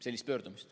Helle-Moonika Helme.